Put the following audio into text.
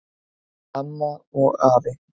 Amma og afi